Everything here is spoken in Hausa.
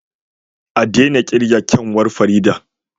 A daina kirga Farida yar kyanwa